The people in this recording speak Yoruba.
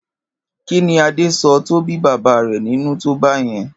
Kí ni Adé so̩ tí ó bí bàbá rè̩ nínú tó bé̩ye̩n?